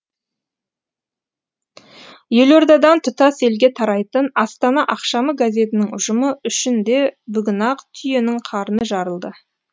елордадан тұтас елге тарайтын астана ақшамы газетінің ұжымы үшін де бүгін ақ түйенің қарны жарылды